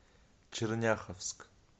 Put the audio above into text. черняховск